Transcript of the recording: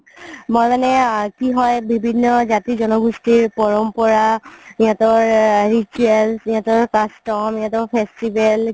মই মানে কি হয় বিভিন্ন জাতি জন গুষ্টিৰ পৰম্পৰা সিহতৰ rituals সিহতৰ custom সিহতৰ festival